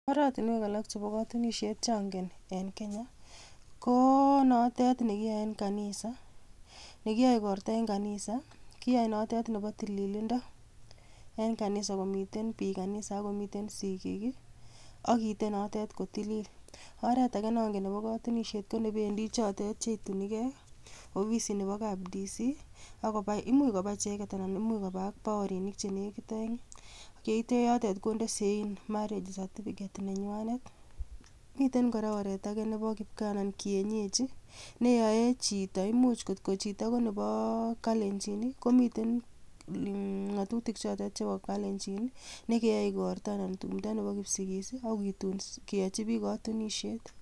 Oratinwek alak chebo kotunisiet cheongeen en kenyaa, ko notet nekiyooe en kanisa. Nekiyoe igortoo en kanisa kiyooe note nebo tililindoo, en kanisa komiten biik kanisa ak komiten sigiik ak kite noteet kotilil. Oretage nongeen nebo kotunisiet konekibendii chotet cheitunigee ofisi nebo kap Dc,much kobaa icheket anan imuch kobaa ak baorinik. Yeitee yotet kondee sein marriage certificate nenywaanet. Miten kora oretage nebo kipgaa anan kienyeji neyoa chito, imuch kot ko chito koneboo kalenjin komiten, ng'atutik chotet chebo kalenjiin chekeyoe igortoo, tumdoo Nebo kipsigis ak keyochii biik kotunisiet.